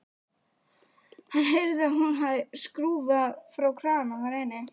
Hann heyrði að hún hafði skrúfað frá krana þar inni.